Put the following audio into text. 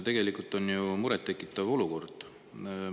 Tegelikult on see ju muret tekitav olukord.